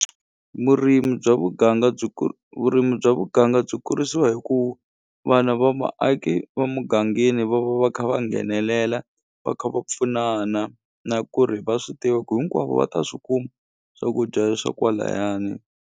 Murimi bya muganga byi vurimi bya muganga byi kurisiwa hi ku vana va vaaki va mugangeni va va va kha va nghenelela va kha va pfunana na ku ri va swi tiva ku hinkwavo va ta swi kuma swakudya leswa kwalayani.